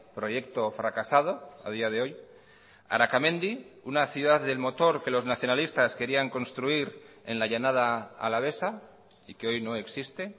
proyecto fracasado a día de hoy arakamendi una ciudad del motor que los nacionalistas querían construir en la llanada alavesa y que hoy no existe